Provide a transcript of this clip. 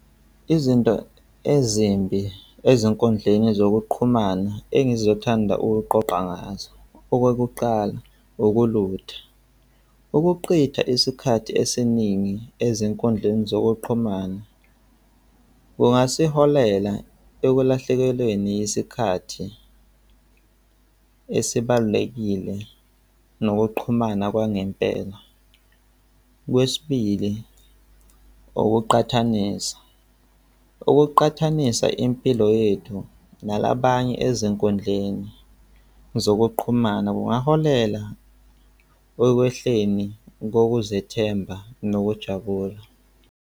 Izinto ezimbi ezinkundleni zokuqhumana engizothanda ukuqoqa ngazo. Okokuqala, ukulutha, ukuqitha isikhathi esiningi ezinkundleni zokuqhumana kungasiholela ekulahlekelweni isikhathi esibalulekile nokuqhumana kwangempela. Okwesibili, ukuqhathanisa, ukuqhathanisa impilo yethu nalabanye ezinkundleni zokuqhumana kungaholela ekwehleni kokuzethemba nokujabula.